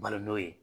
Balo n'o ye